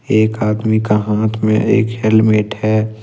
एक आदमी का हाथ में एक हेलमेट है।